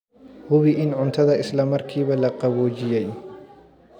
Hubi in cuntada isla markiiba la qaboojiyey.